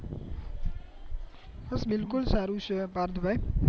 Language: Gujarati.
બિલકુલ સારું છે પાર્થભાઈ